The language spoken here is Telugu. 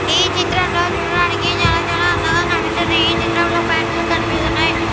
ఈ చిత్రంలో చూడడానికి చాలా చాలా అందంగా కనిపిస్తుంది ఈ చిత్రంలో ప్యాంట్లు కనిపిస్తున్నాయి.